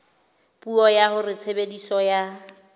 puo ya hore tshebediso ya